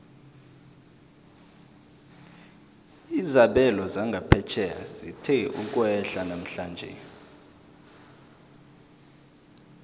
izabelo zangaphetjheya zithe ukwehla namhlanje